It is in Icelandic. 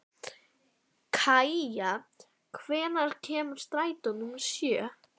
Kaía, hvenær kemur strætó númer sjö?